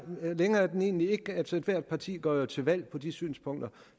længere er den egentlig ikke altså ethvert parti går jo til valg på de synspunkter